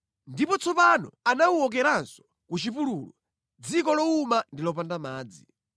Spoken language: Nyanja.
Ndipo tsopano anawuwokeranso ku chipululu, dziko lowuma ndi lopanda madzi.